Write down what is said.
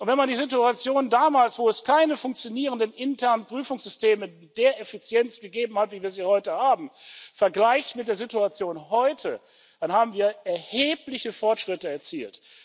Und wenn man die Situation damals, wo es keine funktionierenden internen Prüfungssysteme mit der Effizienz gegeben hat, wie wir sie heute haben, vergleicht mit der Situation heute, dann haben wir erhebliche Fortschritte erzielt.